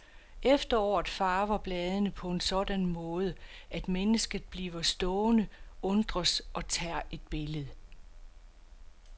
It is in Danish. Efteråret farver bladene på en sådan måde, at mennesket bliver stående, undres og tager et billede.